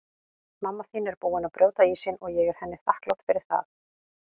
Mamma þín er búin að brjóta ísinn og ég er henni þakklát fyrir það.